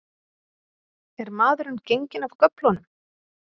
Er maðurinn genginn af göflunum?